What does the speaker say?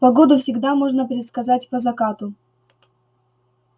погоду всегда можно предсказать по закату